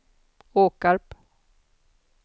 Åkarp